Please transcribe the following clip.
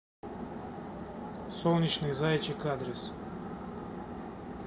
солнечный зайчик адрес